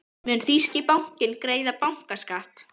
Mun þýski bankinn greiða bankaskatt?